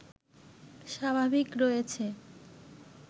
স্বাভাবিক রয়েছে